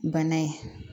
Bana ye